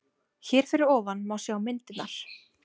Hér fyrir ofan má sjá myndirnar